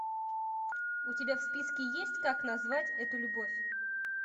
у тебя в списке есть как назвать эту любовь